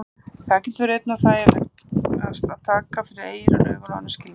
Þá getur verið einna þægilegast að taka fyrir eyrun, augun og önnur skilningarvit.